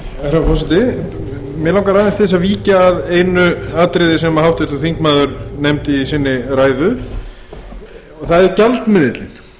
herra forseti mig langar aðeins til að víkja að einu atriði sem háttvirtur þingmaður nefndi í ræðu sinni og það er gjaldmiðillinn